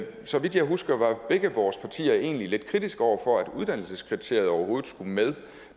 så vidt jeg husker var begge vores partier egentlig lidt kritiske over for at uddannelseskriteriet overhovedet skulle med